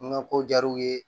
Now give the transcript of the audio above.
N ka ko jaar'u ye